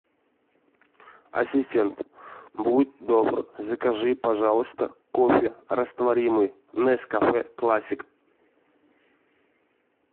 ассистент будь добр закажи пожалуйста кофе растворимый нескафе классик